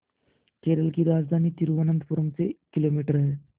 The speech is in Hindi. केरल की राजधानी तिरुवनंतपुरम से किलोमीटर है